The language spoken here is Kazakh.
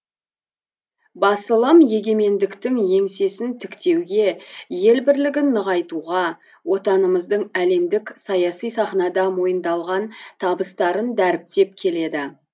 басылым егемендіктің еңсесін тіктеуге ел бірлігін нығайтуға отанымыздың әлемдік саяси сахнада мойындалған табыстарын дәріптеп келеді